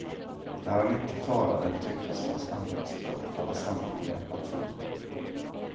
När han inte talade tycktes hans anletsdrag falla samman i apati.